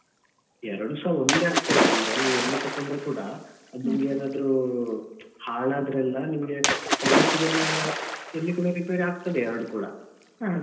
ಎರಡುಸಾ ಒಂದೇ ಆಗ್ತದೆ ಅಂದ್ರೆ ನೀವ್ ಎಲ್ಲಿ ತೆಕ್ಕೊಂಡ್ರೂ ಕೂಡ ಅದು ನಿಮ್ಗೆ ಏನಾದ್ರು ಹಾಳಾದ್ರೆಲ್ಲ ನಿಮ್ಗೆ service ಗೆಲ್ಲಾ ಎಲ್ಲಿ ಕೂಡ ರಿಪೇರಿ ಆಗ್ತದೆ ಎರಡು ಕೂಡ .